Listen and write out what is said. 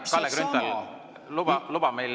Hea Kalle Grünthal, luba meil …